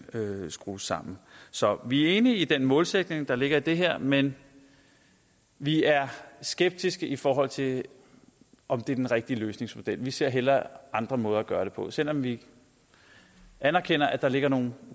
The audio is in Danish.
skrues sammen så vi er enige i den målsætning der ligger i det her men vi er skeptiske i forhold til om det er den rigtige løsningsmodel vi ser hellere andre måder at gøre det på selv om vi anerkender at der ligger nogle